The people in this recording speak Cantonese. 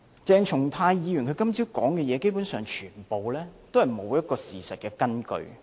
鄭松泰議員今早的發言，基本上完全沒有事實根據。